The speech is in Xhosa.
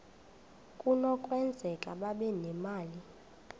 kunokwenzeka babe nemali